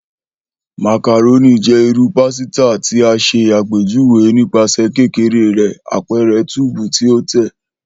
Macaroni jẹ iru pasita ti a ṣe apejuwe nipasẹ kekere rẹ, apẹrẹ tube ti o tẹ.